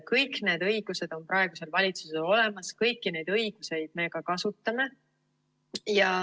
Kõik need õigused on praegusel valitsusel olemas, kõiki neid õigusi me ka kasutame.